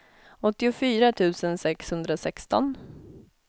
åttiofyra tusen sexhundrasexton